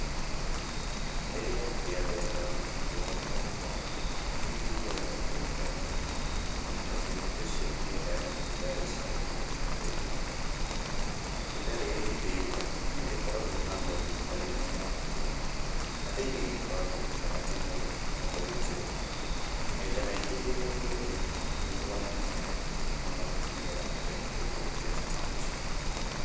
Rĩrĩa rĩothe ndona mũtĩ wa mũtomoko, nĩ njiguaga ndĩ mũkenu mũno, tondũ mũtĩ ũcio nĩ ũheaga itunda rĩ cama mũno rĩa itomoko. Itunda rĩrĩ rĩerua nĩ rĩkoragwo na ngothi ĩtarĩ nyũmũ mũno, na thĩiniĩ rĩkoragwo na rangi mwerũ na mbegũ njĩrũ. Maita maingĩ rĩrĩa ngũrĩrĩa, nĩnyũaga maaĩ mũno nĩgetha hote gũikũrũkia cama ũcio.